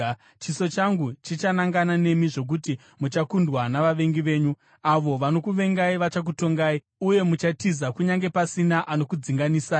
Chiso changu chichanangana nemi zvokuti muchakundwa navavengi venyu. Avo vanokuvengai vachakutongai, uye muchatiza kunyange pasina anokudzinganisai.